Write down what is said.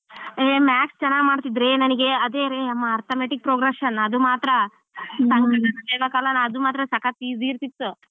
ಹೇ maths ಚೆನ್ನಾಗಿ ಮಾಡ್ತಿದ್ರೆ ನನ್ಗೆ ಅದೇ ರೇ ಮ್~ arithmetic progression ಅದು ಮಾತ್ರಾ ಸಂಕಲನ ವ್ಯವಕಲನ ಅದು ಮಾತ್ರ ಸಕತ್ easy ಇರ್ತಿತ್ತು.